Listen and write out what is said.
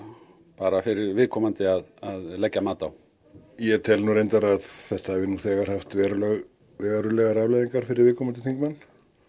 bara fyrir viðkomandi að leggja mat á ég tel nú reyndar að þetta hafi nú þegar haft verulegar verulegar afleiðingar fyrir viðkomandi þingmenn